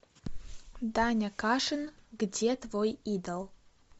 даня кашин где твой идол